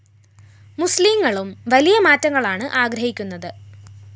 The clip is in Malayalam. മുസ്ലീങ്ങളും വലിയ മാറ്റങ്ങളാണ്‌ ആഗ്രഹിക്കുന്നത്‌